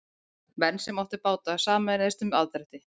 Menn sem áttu báta sameinuðust um aðdrætti.